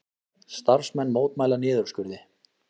Starfsmenn mótmæla niðurskurði